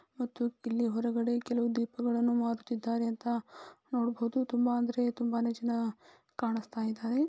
ಮತ್ತು ಇಲ್ಲಿ ಹೊರಗಡೆ ದೀಪಗಳನ್ನು ಮಾರುತ್ತಿದ್ದಾರೆ . ಅಂತ ನೋಡಬಹುದು ತುಂಬಾನೇ ಅಂದ್ರೆ ತುಂಬಾನೇ ಜನ ಕಾಣಸ್ತಿದಾರೆ .